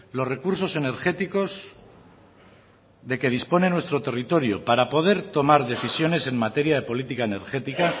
los recursos energéticos de que dispone nuestro territorio para poder tomar decisiones en materia de política energética